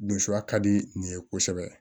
Dunsiya ka di nin ye kosɛbɛ